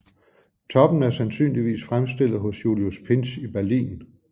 Toppen er sandsynligvis fremstillet hos Julius Pintsch i Berlin